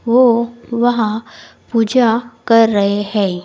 वो वहां पूजा कर रहे हैं।